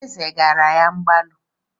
Ézè agara ya mgbalu?